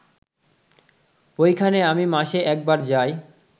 ওইখানে আমি মাসে একবার যাই